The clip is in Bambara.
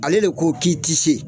Ale de ko k'i tɛ se